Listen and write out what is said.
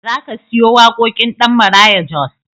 Za ka siyo waƙoƙin ɗan Maraya Jos?